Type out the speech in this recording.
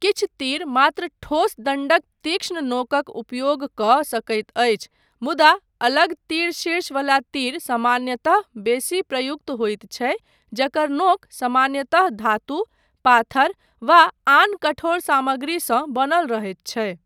किछु तीर मात्र ठोस दण्डक तीक्ष्ण नोकक उपयोग कऽ सकैत अछि मुदा अलग तीरशीर्ष वला तीर सामान्यतः बेसी प्रयुक्त होइत छै जकर नोक सामान्यतः धातु, पाथर वा आन कठोर सामग्रीसँ बनल रहैत छै।